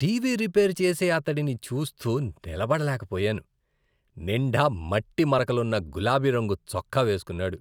TV repair చేసే అతడిని చూస్తూ నిలబడలేకపోయాను. నిండా మట్టి మరకలున్న గులాబి రంగు చొక్కా వేసుకున్నాడు.